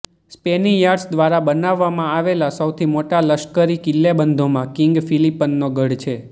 Spaniards દ્વારા બનાવવામાં આવેલા સૌથી મોટા લશ્કરી કિલ્લેબંધોમાં કિંગ ફિલિપનો ગઢ છે